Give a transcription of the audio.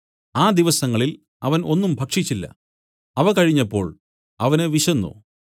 ആ ദിവസങ്ങളിൽ അവൻ ഒന്നും ഭക്ഷിച്ചില്ല അവ കഴിഞ്ഞപ്പോൾ അവന് വിശന്നു